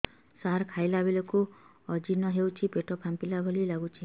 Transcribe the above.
ସାର ଖାଇଲା ବେଳକୁ ଅଜିର୍ଣ ହେଉଛି ପେଟ ଫାମ୍ପିଲା ଭଳି ଲଗୁଛି